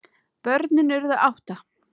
Börnin urðu átta.